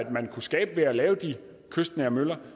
man kunne skabe ved at lave de kystnære møller